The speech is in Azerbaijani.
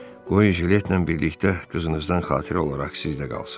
Qoyun jiletlə birlikdə qızınızdan xatirə olaraq sizdə qalsın.